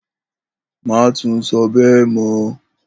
Má tún so̩ bé̩è̩ mó̩!